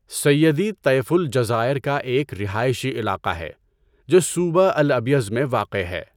سیدی طیفو الجزائر کا ایک رہائشی علاقہ ہے جو صوبہ البیض میں واقع ہے۔